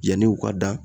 Yanni u ka dan